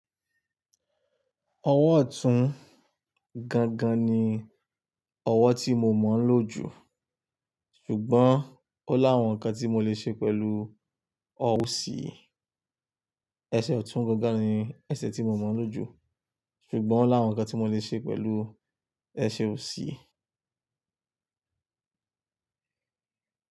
Ọwọ́ ọ̀tún gangan ni ọwọ́ tí mo mọ̀ ń lò jù, ṣùgbọ́n ó lá awon ǹkan tí mo lè ṣe pẹ̀lú ọ́wò sí. Ẹsẹ̀ ọ̀tún gangan ni ẹsẹ̀ tí mo mọ̀ ń lò jù, ṣùgbọ́n ó láàrún ǹkan tí mo lè ṣe pẹ̀lú ẹsẹ̀ ò sí.